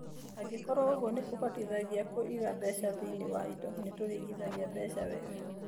Angĩkorũo ũguo nĩ kũhotithagia kwĩiga mbeca thĩinĩ wa indo, nĩ tũrĩigaga mbeca wega.